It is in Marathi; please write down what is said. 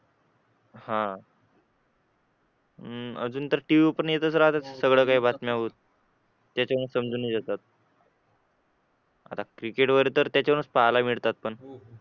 हा अह अजून तर TV वर पण येतच राहतात सगळ्या बातम्या पण त्याच्याने समजून घेतात आता क्रिकेट वगैरे तर पाहायला मिळतात पण